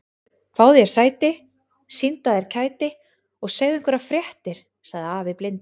Fáðu þér sæti, sýndu af þér kæti og segðu einhverjar fréttir sagði afi blindi.